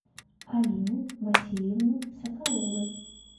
алины васильевны соколовой